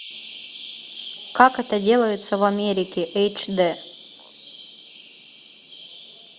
как это делается в америке эйч д